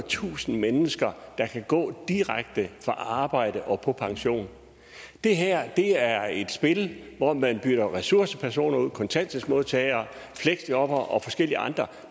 tusind mennesker der kan gå direkte fra arbejde og på pension det her er et spil hvor man bytter ressourcepersoner ud kontanthjælpsmodtagere fleksjobbere og forskellige andre